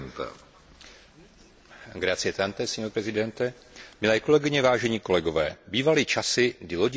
Milé kolegyně, vážení kolegové, bývaly časy, kdy lodi s cestujícími připlouvající do Spojených států byly vítány v přístavu.